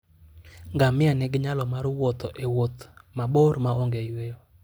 Ngamia nigi nyalo mar wuotho e Wuoth wuoth mabor maongeyweyo.